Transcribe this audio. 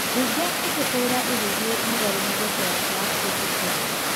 Mbunge ĩkĩhũra ĩgĩthĩe mũgarũ na veto yake ya kũũhetũkĩa.